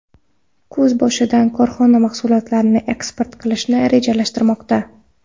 Kuz boshidan korxona mahsulotlarini eksport qilishni rejalashtirmoqda.